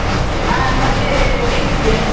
ಹ ಮತ್ತೇ ಹೇಗಿದ್ಯ?